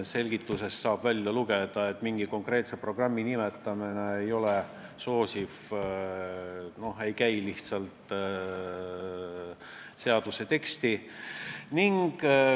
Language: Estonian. Selgitusest saab välja lugeda, et mingi konkreetse programmi nimetamine seaduse tekstis ei ole põhjendatav, see lihtsalt ei käi seaduse teksti juurde.